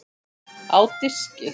Á diski.